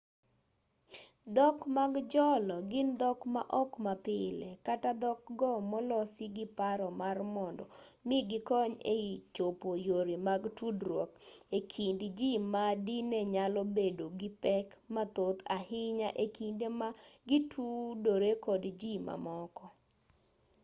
dhok mag jolo gin dhok maok mapile kata dhok go molosi gi paro mar mondo mi gikony e chopo yore mag tudruok e kind ji ma dine nyalo bedo gi pek mathoth ahinya e kinde ma gitudore kod ji mamoko